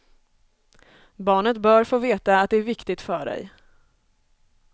Barnet bör få veta att det är viktigt för dig.